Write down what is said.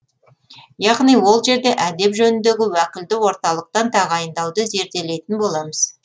яғни ол жерде әдеп жөніндегі уәкілді орталықтан тағайындауды зерделейтін боламыз